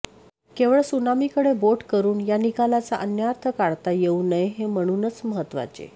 केवळ त्सुनामीकडे बोट करून या निकालाचा अन्वयार्थ काढता येऊ नये हे म्हणूनच महत्त्वाचे